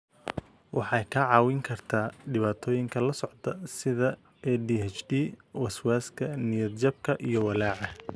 Waxay kaa caawin kartaa dhibaatooyinka la socda, sida ADHD, waswaaska, niyad-jabka iyo walaaca.